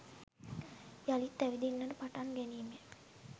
යළිත් ඇවිදින්නට පටන් ගැනීමය